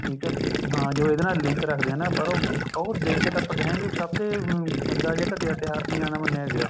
ਠੀਕ ਹੈ ਹਾਂ ਜੋ ਇਹਦੇ ਨਾਲ link ਰੱਖਦੇ ਹੈ ਪਰ ਉਹ ਦੇਖ ਤਾਂ ਆਪਾਂ ਕਹਾਂਗੇ ਸਭ ਤੋਂ ਗੰਦਾ ਜਾਂ ਘਟੀਆ ਤਿਉਹਾਰ ਤੀਆਂ ਦਾ ਮੰਨਿਆ ਗਿਆ